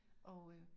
Og øh